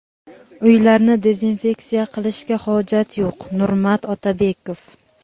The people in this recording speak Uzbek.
Uylarni dezinfeksiya qilishga hojat yo‘q – Nurmat Otabekov.